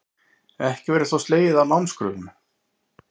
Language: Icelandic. Ekki verður þó slegið af námskröfum